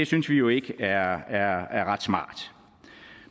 synes vi jo ikke er ret smart